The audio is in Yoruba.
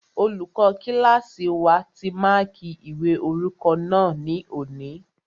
Olùkọ́ kílásì wa ti máàkí ìwé orúkọ náà ní òní